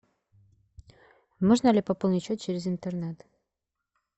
можно ли пополнить счет через интернет